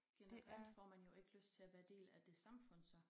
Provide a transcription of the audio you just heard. Generelt får man jo ikke lyst til at være del af det samfund så